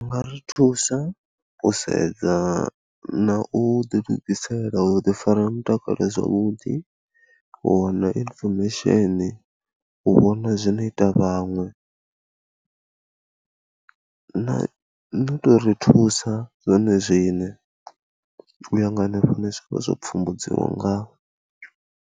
U nga ri thusa u sedza na u ḓilugisela u ḓifara mutakalo zwavhuḓi, u wana information, u vhona zwine ita a vhaṅwe na, no tou ri thusa zwone zwine, u ya nga hanefha zwine zwa vha zwo pfhumbudziwa ngaho.